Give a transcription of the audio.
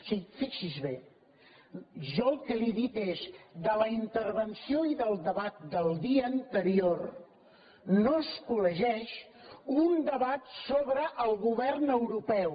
sí fixi’s bé jo el que li he dit és de la intervenció i del debat del dia anterior no es col·legeix un debat sobre el govern europeu